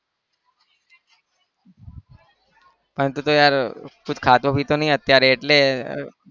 હા તું તો યાર કુછ ખાતો પીતો નહિ અત્યારે એટલે